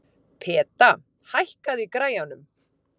Peta, hækkaðu í græjunum.